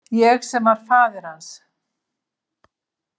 Ég sem var faðir hans.